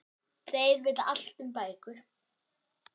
Þeir vita allt um bækur.